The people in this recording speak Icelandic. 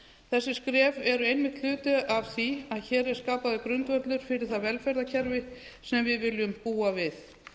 þessi skref eru einmitt hluti af því að hér er skapaður grundvöllur fyrir það velferðarkerfi sem við viljum búa við